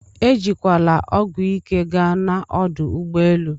Ejikwana ọgwụ ike gaa na ọdụ ụgbọelụ